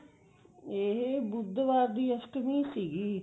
ਇਹ ਬੁੱਧਵਾਰ ਦੀ ਅਸਟਮੀ ਸੀਗੀ